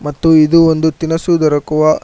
ಮತ್ತು ಇದು ಒಂದು ತಿನಸು ದೊರಕುವ--